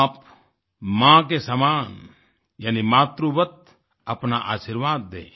आप माँ के समान यानि मातृवत अपना आशीर्वाद दें